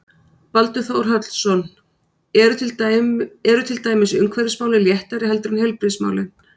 Baldur Þórhallsson: Eru til dæmis umhverfismálin léttari heldur en heilbrigðismálin?